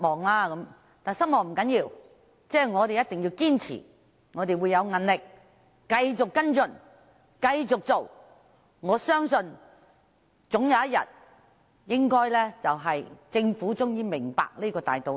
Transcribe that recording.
然而，失望不要緊，我一定會堅持、要有毅力地繼續跟進及爭取，我相信政府總有一天會明白這個大道理。